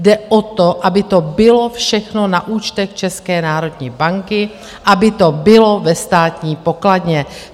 Jde o to, aby to bylo všechno na účtech České národní banky, aby to bylo ve Státní pokladně.